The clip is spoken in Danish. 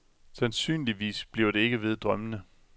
Sandsynligvis bliver det ikke ved drømmene.